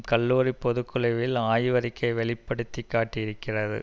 கல்லூரி பொதுக்குழுவின் ஆய்வறிக்கை வெளி படுத்தி காட்டி இருக்கிறது